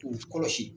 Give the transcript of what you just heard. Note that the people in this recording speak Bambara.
K'u kɔlɔsi